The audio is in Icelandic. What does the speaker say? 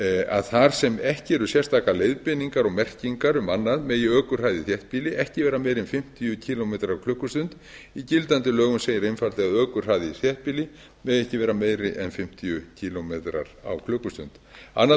að þar sem ekki eru sérstakar leiðbeiningar og merkingar um annað megi ökuhraði í þéttbýli ekki vera meiri en fimmtíu kílómetra á klukkustund í gildandi lögum segir einfaldlega að ökuhraði í þéttbýli megi ekki vera meiri en fimmtíu kílómetra á klukkustund annað